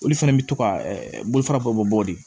Olu fana bɛ to ka bolofara bɔ mɔgɔ de ye